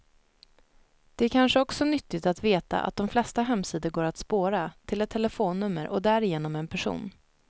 Det är kanske också nyttigt att veta att de flesta hemsidor går att spåra, till ett telefonnummer och därigenom en person.